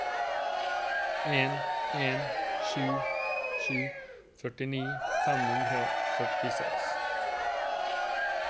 en en sju sju førtini fem hundre og femtiseks